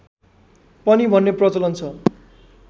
पनि भन्ने प्रचलन छ